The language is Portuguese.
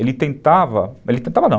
Ele tentava... Ele tentava não.